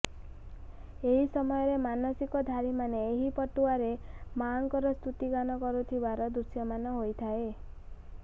ଏହି ସମୟରେ ମାନସିକଧାରୀମାନେ ଏହି ପଟୁଆରରେ ମାଆଙ୍କର ସ୍ତୃତିଗାନ କରୁଥିବାର ଦୃଶ୍ୟମାନ ହୋଇଥାଏ